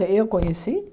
Eh eu conheci?